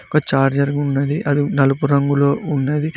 ఒక ఛార్జర్ ఉన్నది అది నలుపు రంగులో ఉన్నది.